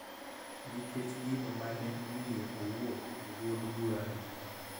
Nikech gino ma ne omiyo owuok e duond bura no